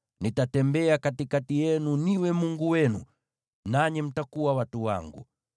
Nitatembea katikati yenu niwe Mungu wenu, nanyi mtakuwa watu wangu.